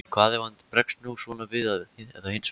Hvað ef hann bregst nú svona við eða hinsegin?